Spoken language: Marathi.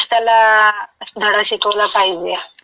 त्याला धडा शिकवला पाहिजे.